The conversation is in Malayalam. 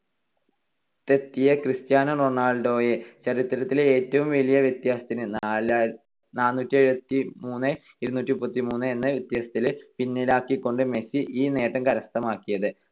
തെത്തിയ ക്രിസ്റ്റ്യാനോ റൊണാൾഡോയെ ചരിത്രത്തിലെ ഏറ്റവും വലിയ വ്യത്യാസത്തിന് നാലായിരത്തി~ നാനൂറ്റിഎഴുപത്തിമൂന്ന് - ഇരുന്നൂറ്റിമുപ്പത്തിമൂന്ന് എന്ന വ്യത്യാസത്തില് പിന്നിലാക്കികൊണ്ട് മെസ്സി ഈ നേട്ടം കരസ്ഥമാക്കിയത്.